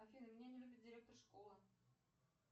афина меня не любит директор школы